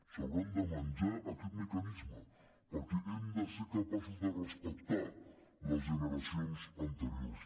s’hauran de menjar aquest mecanisme perquè hem de ser capaços de respectar les generacions anteriors